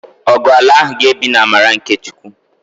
Ọgu ala ahụ ga-ebi n'amara nke Chukwu